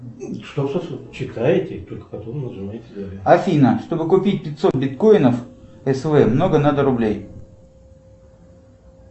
афина чтобы купить пятьсот биткоинов св много надо рублей